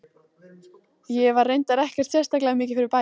Ég var reyndar ekkert sérstaklega mikið fyrir bækur.